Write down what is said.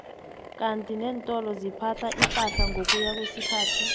kandi nentolo ziphatha ipahla ngokuya kwesikhathi